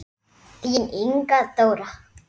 Þín Inga Dóra.